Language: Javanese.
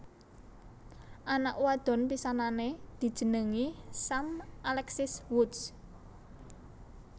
Anak wadon pisanané dijenengi Sam Alexis Woods